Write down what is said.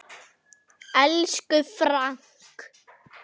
Elsku Frank.